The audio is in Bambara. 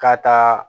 Ka taa